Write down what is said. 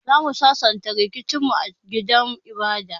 Zamu sasanta rikicin mu a gidan ibada.